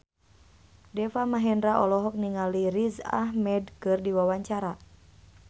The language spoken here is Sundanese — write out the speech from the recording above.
Deva Mahendra olohok ningali Riz Ahmed keur diwawancara